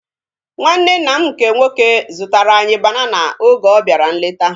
Nwanne nna m nke nwoke zụtara anyị banana oge ọ bịara nleta